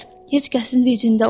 Heç kəsin vicində olmaz.